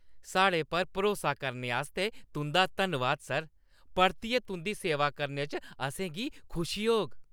साढ़े पर भरोसा करने आस्तै तुंʼदा धन्नवाद, सर। परतियै तुंʼदी सेवा करने च असें गी खुशी होग।